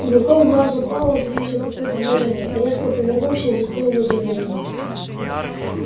уголком глаза пауэлл заметил какое-то движение резко повернулся и застыл в изумлении